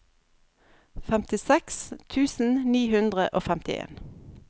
femtiseks tusen ni hundre og femtien